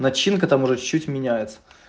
начинка там уже чуть-чуть меняется